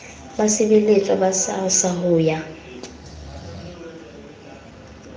basebeletswa ba srsa ho ya